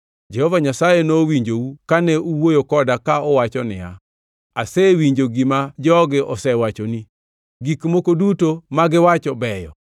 Jehova Nyasaye nowinjou kane uwuoyo koda ka uwacho niya, “Asewinjo gima jogi osewachoni, gik moko duto magiwacho beyo.